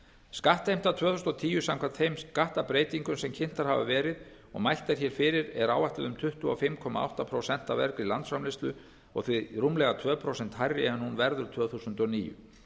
skattheimta tvö þúsund og tíu samkvæmt þeim skattbreytingum sem kynntar hafa verið og mælt er hér fyrir er áætluð um tuttugu og fimm komma átta prósent af vergri landsframleiðslu og því rúmlega tvö prósent hærri en hún verður tvö þúsund og níu